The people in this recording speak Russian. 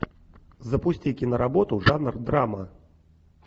запусти киноработу жанр драма